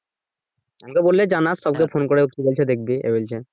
আমাকে বললে জানাস স্যারকে ফোন করে কি বলছে দেখবি